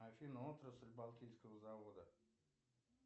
афина отрасль балтийского завода